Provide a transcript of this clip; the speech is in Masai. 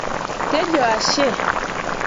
tejo ashe